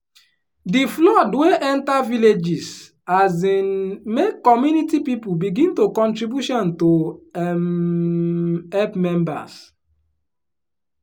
di flood wey enter villages um make community people begin do contribution to um help members.